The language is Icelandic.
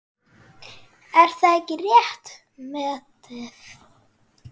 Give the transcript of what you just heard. Er það ekki rétt metið?